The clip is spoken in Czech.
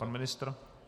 Pan ministr?